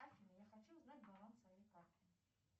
афина я хочу узнать баланс своей карты